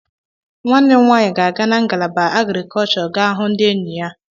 Nwanne m nwaanyị ga-aga na ngalaba Agrikọlshọ ga hụ ndị enyi ya.